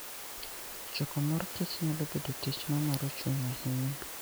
Choko mor kich nyalo bedo tich mamoro chuny ahinya.